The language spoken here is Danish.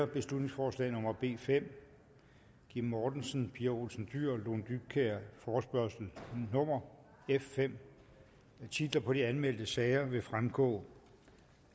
beslutningsforslag nummer b fem kim mortensen pia olsen dyhr og lone dybkjær forespørgsel nummer f fem titler på de anmeldte sager vil fremgå